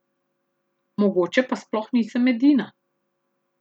Mogoče pa sploh nisem edina.